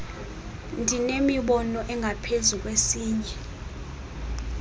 ndinemibono engaphezu kwesinye